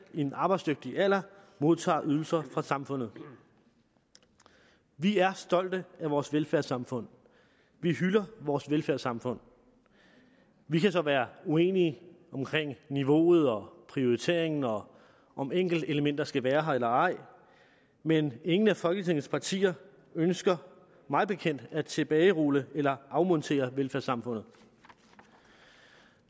i den arbejdsdygtige alder modtager ydelser fra samfundet vi er stolte af vores velfærdssamfund vi hylder vores velfærdssamfund vi kan så være uenige om niveauet og prioriteringen og om enkeltelementer skal være her eller ej men ingen af folketingets partier ønsker mig bekendt at tilbagerulle eller afmontere velfærdssamfundet